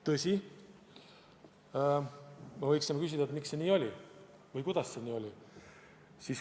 Tõsi, aga võiks küsida, miks see nii oli või kuidas see oli.